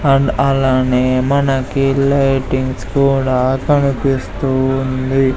And అలానే మనకి lightings కూడా కనిపిస్తూ ఉంది.